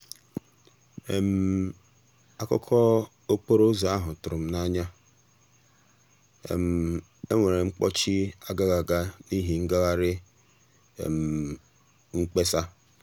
akụkọ okporo um ụzọ ahụ tụrụ m anya—e nwere mkpọchị agaghị aga n'ihi ngagharị um mkpesa.